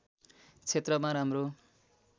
क्षेत्रमा राम्रो